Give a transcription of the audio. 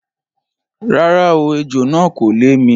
Rárá o, ejò náà kò lè mi.